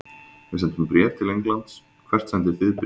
Við sendum bréf til Englands. Hvert sendið þið bréf?